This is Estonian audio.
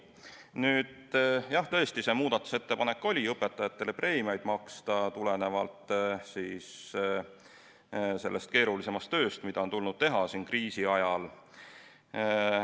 Nüüd, jah, tõesti oli muudatusettepanek maksta õpetajatele preemiat tulenevalt sellest keerulisemast tööst, mida on tulnud teha kriisi ajal.